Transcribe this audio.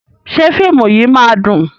Ṣé fíìmù yìí máa dùn?